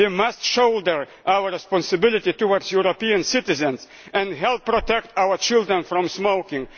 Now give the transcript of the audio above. miss. We must shoulder our responsibility towards European citizens and help protect our children from smoking.